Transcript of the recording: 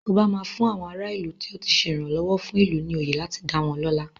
Ọba máa fún àwọn ara ìlú tó ti ṣe ìrànlọ́wọ́ fún ìlú ní oyè láti dá wọ́n lọ́lá.